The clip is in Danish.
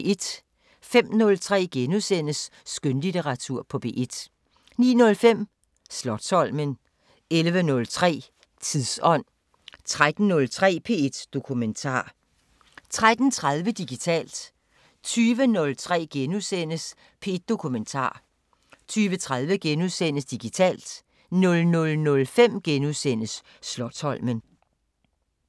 05:03: Skønlitteratur på P1 * 09:05: Slotsholmen 11:03: Tidsånd 13:03: P1 Dokumentar 13:30: Digitalt 20:03: P1 Dokumentar * 20:30: Digitalt * 00:05: Slotsholmen *